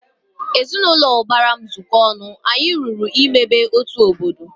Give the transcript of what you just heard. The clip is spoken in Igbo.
Ezinaụlọ ubara m zuko ọnụ, anyị lụrụ ịmebe otu obodo